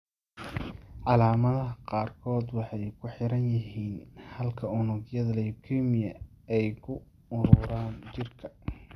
Calaamadaha qaarkood waxay ku xiran yihiin halka unugyada leukemia ay ku ururaan jirka.